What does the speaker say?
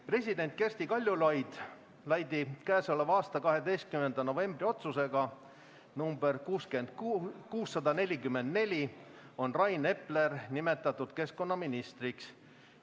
President Kersti Kaljulaidi k.a 12. novembri otsusega nr 644 on Rain Epler nimetatud keskkonnaministriks.